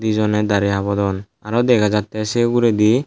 dijone dari habodon aro dega jatte sey uguredi.